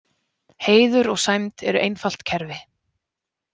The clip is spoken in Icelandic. Heiður og sæmd eru einfalt kerfi.